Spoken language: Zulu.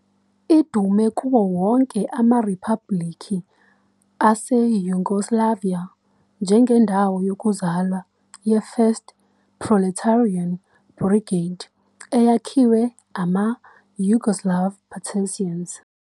Idume kuwo wonke amaRiphabhulikhi aseYugoslavia njengendawo yokuzalwa ye-1st Proletarian Brigade eyakhiwe ama-Yugoslav Partisans.